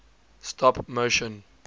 stop motion